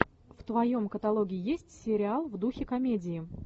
в твоем каталоге есть сериал в духе комедии